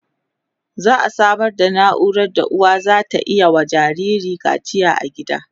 za'a Samar da naura da uwa zata iya wa jinjiri kacia a gida